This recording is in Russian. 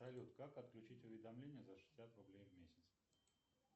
салют как отключить уведомления за шестьдесят рублей в месяц